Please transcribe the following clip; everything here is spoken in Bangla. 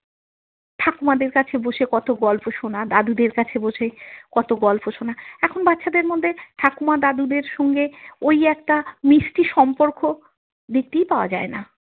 ঠাকুমাদের কাছে বসে কত গল্প শোনা দাদুদের কাছে বসে কত গল্প শোনা এখন বাচ্ছাদের মধ্যে ঠাকুমা দাদুদের সঙ্গে ওই একটা মিষ্টি সম্পর্ক দেখতেই পাওয়া যায় না।